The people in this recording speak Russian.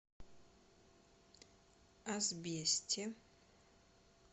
асбесте